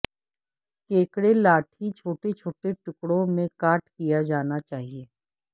کیکڑے لاٹھی چھوٹے چھوٹے ٹکڑوں میں کاٹ کیا جانا چاہئے